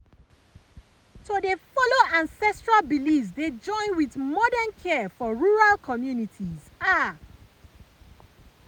to dey follow ancestral beliefs dey join with modern care for rural communities ah pause.